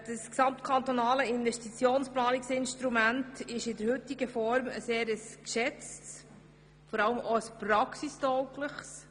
Das kantonale Investitionsplanungs-Instrument wird in der heutigen Form sehr geschätzt und ist praxistauglich.